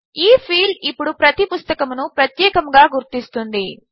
ఈ ఫీల్డ్ ఇప్పుడు ప్రతి పుస్తకమును ప్రత్యేకముగా గుర్తిస్తుంది